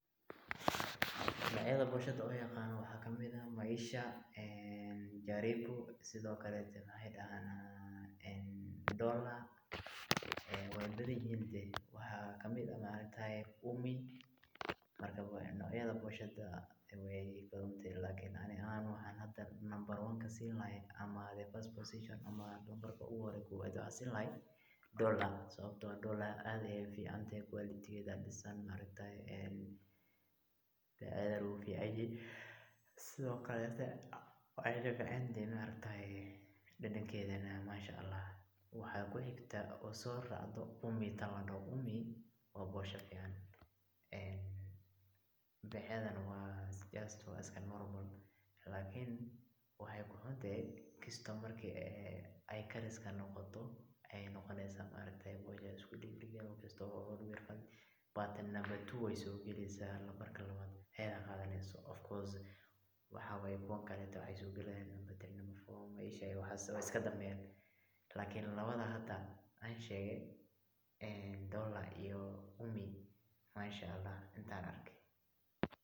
Nocyada booshada aan yaqaano waxaa kamid ah Maisha, karibu, dollar waay badan yihiin, waxaa kamid ah Umi, marka nocyada booshada waay badan tehe, lakin ani ahaan waxaan nambar kow siin lahaa dollar sababta oo ah aad ayeey ufican tahay quality geeda ayaa disan, sido kale dadankeeda Masha Allah, waxaa kuxigtaa oo soo raacdo Umi, waa boosha fican, beecedana waa iska normal ,lakin waxeey ku xuntahay kisto marki aay kariska noqoto ayeey noqoneysa boosha isku dagdagan, lakin nambarka labaad ayeey soo galeysa off course ,waxaa waye kuwa kale waxeey soo galayaan nambarka sadexaad waay iska danbeeyaan, lakin labada hada aan sheege, mashaallah intaan arke.